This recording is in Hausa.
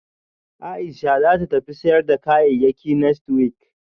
Aisha zata tafi sayar da kayayyakinext week